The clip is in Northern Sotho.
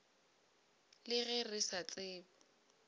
le ge re sa tsebe